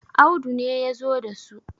Audu ne ya zo da su